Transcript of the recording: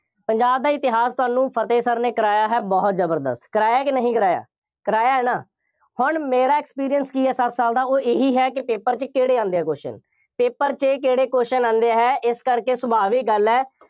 ਪੰਜਾਬ ਦਾ ਇਤਿਹਾਸ ਤੁਹਾਨੂੰ ਫਤਹਿ sir ਨੇ ਕਰਾਇਆ ਹੈ, ਬਹੁਤ ਜ਼ਬਰਦਸਤ, ਕਰਾਇਆ ਕਿ ਨਹੀਂ ਕਰਾਇਆ, ਕਰਾਇਆ ਹੈ ਨਾ, ਹੁਣ ਮੇਰਾ experience ਕੀ ਹੈ, ਸੱਤ ਸਾਲ ਦਾ, ਉਹ ਇਹੀ ਹੈ ਕਿ paper ਚ ਕਿਹੜੇ ਆਉਂਦੇ ਆ question, paper ਚ ਕਿਹੜੇ question ਆਉਂਦੇ ਹੈ। ਇਸ ਕਰਕੇ ਸੁਭਾਵਿਕ ਗੱਲ ਹੈ।